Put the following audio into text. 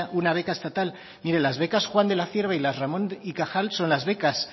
una beca estatal mire las becas juan de la cierva y las ramón y cajal son las becas